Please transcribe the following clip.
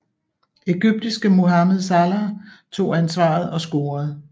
Egyptiske Mohamed Salah tog ansvaret og scorede